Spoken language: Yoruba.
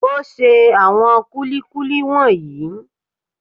O ṣe àwọn kúlíkúlí wọ̀nyí.